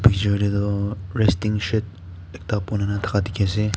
dekhe shey koiley toh resting shed ekta banaikena dekhi ase.